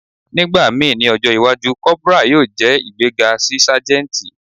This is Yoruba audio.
Nigbamii ni ọjọ iwaju, corporal yoo jẹ igbega si sajenti.